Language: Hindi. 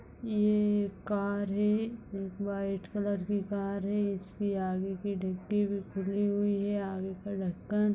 ये एक कार है। एक व्हाइट कलर की कार है। इसकी आगे कि डिग्गी भी खुली हुई है। आगे का ढक्कन --